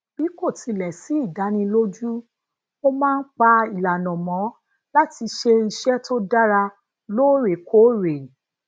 bi ko tile si ìdánilójú mo máa ń pa ìlànà mọ lati se iṣẹ tó dára loorekoore